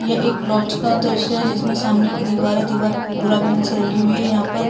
ये एक लॉज का दृश्य है जिसमे समाने की दिवार है दिवार गुलाबी रंग से रंगी हुई है यहाँ पर --